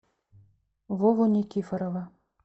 вову никифорова